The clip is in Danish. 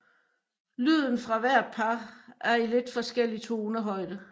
Lyden fra hvert par er i lidt forskellig tonehøjde